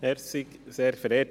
Kommissionspräsident der FiKo.